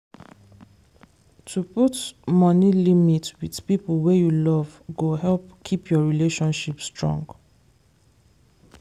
to put money limit with people wey you love go help keep your relationship strong.